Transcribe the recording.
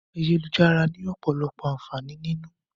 Ayélujára ni ọ̀pọ̀lọpọ̀ àǹfààní nínú.